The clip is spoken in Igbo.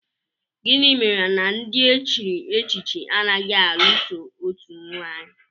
Gịnị mere na ndị e chiri echichi anaghị alụ so otu nwaanyị?